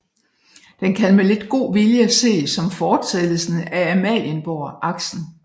Den kan med lidt god vilje ses som fortsættelsen af Amalienborgaksen